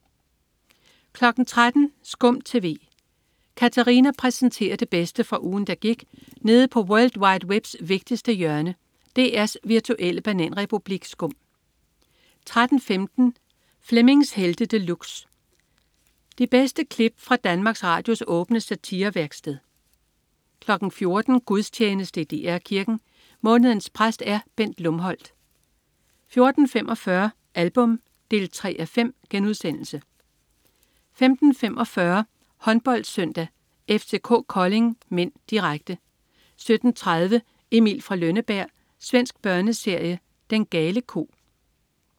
13.00 SKUM TV. Katarina præsenterer det bedste fra ugen, der gik nede på world wide webs vigtigste hjørne, DR's virtuelle bananrepublik SKUM 13.15 Flemmings Helte De Luxe. De bedste klip fra Danmarks Radios åbne satirevæksted 14.00 Gudstjeneste i DR Kirken. Månedens præst er Bent Lumholt 14.45 Album 3:5* 15.45 HåndboldSøndag: FCK-Kolding (m), direkte 17.30 Emil fra Lønneberg. Svensk børneserie. Den gale ko